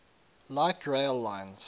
light rail lines